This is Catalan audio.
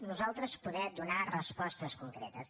nosaltres poder donar respostes concretes